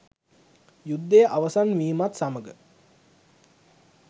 යුද්ධය අවසන් වීමත් සමග